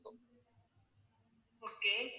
okay